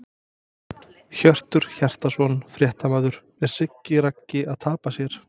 Hjörtur Hjartarson, fréttamaður: Er Siggi Raggi að tapa sér?!